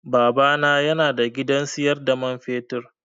Baba na yana da gidan siyar da man fetur.